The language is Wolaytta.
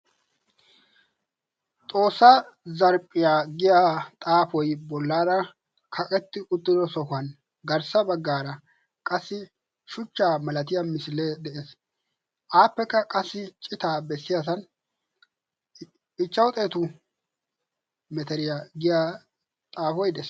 Xoossaa zarphphiya giya xaafoyi bollaara kaqetti uttido sohuwan garssa baggara qassi shuchchaa malatiya misilee de"es. Appekka qassi citaa bessiyasan ichchawu xeetu meteriya giya xaafoyi de"es.